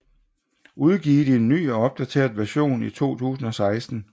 Udgivet i en ny og opdateret version i 2016